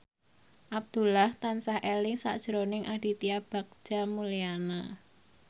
Abdullah tansah eling sakjroning Aditya Bagja Mulyana